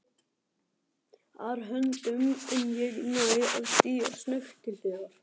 ar höndum en ég næ að stíga snöggt til hliðar.